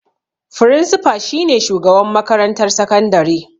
Frinsifa shi ne shugaban makarantar sakandare.